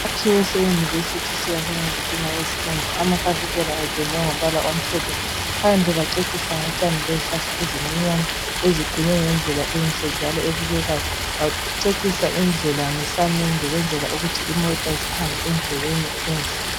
Isakhiwo seyunivesithi siyakhwe ngezitina ezibomvu, amafasitela ependwe ngombala omhlophe. Phandle kwaceciswa ngotshani lezihlahla ezincinyane eziqunywe ngendlela enhle njalo ebukekayo kwaceciswa indlela ngesamende ukwenzela ukuthi imota zihambe endleleni enhle.